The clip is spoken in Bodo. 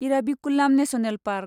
Eravikulam national park